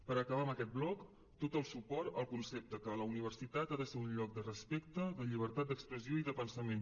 per acabar amb aquest bloc tot el suport al concepte que la universitat ha de ser un lloc de respecte de llibertat d’expressió i de pensament